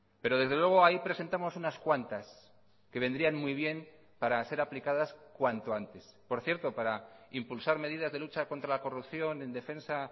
pero desde luego ahí presentamos unas cuantas que vendrían muy bien para ser aplicadas cuanto antes por cierto para impulsar medidas de lucha contra la corrupción en defensa